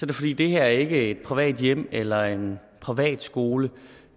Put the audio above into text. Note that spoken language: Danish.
det fordi det her ikke er et privat hjem eller en privatskole